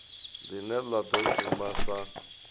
line la do shuma sa